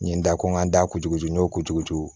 N ye n da ko n ka n da kutuku n y'o kuturu ci